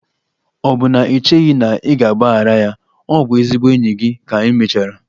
Ọ̀ bụ na i cheghị na ị ga-agbaghara ya? Ọ bụ ezigbo enyi gị ka emechara.